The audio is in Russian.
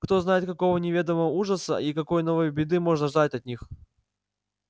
кто знает какого неведомого ужаса и какой новой беды можно ждать от них